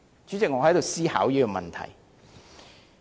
主席，我不禁要思考這個問題。